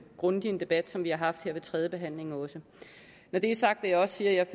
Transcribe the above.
grundig en debat som vi har haft her ved tredjebehandlingen også når det er sagt vil jeg også sige at